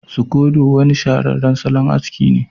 Sukodo wani shahararren salon aski ne